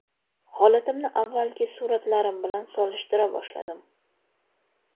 Holatimni avvalgi suratlarim bilan solishtira boshladim.